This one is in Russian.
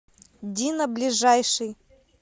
дина ближайший